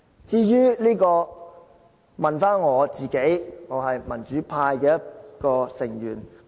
至於我問我自己，我是民主派成員之一。